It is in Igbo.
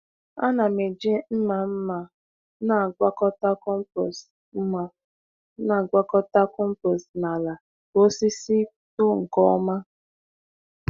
A na m eji mma mma na-agwakọta compost mma na-agwakọta compost na ala ka osisi too nke ọma.